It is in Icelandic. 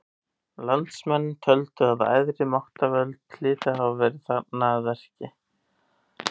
Landsmenn töldu að æðri máttarvöld hlytu að hafa verið þarna að verki.